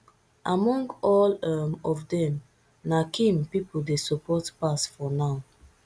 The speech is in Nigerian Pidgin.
among all um of dem na kim pipo dey support pass for now